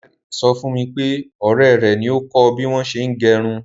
Dáre sọ fún mi pé ọ̀rẹ́ rẹ̀ ni ó kọ bí wọn ṣe ń gẹrun.